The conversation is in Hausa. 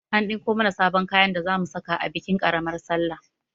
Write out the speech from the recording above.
An ɗinko mana sabon kayan da zamu saka a bikin ƙaramar salla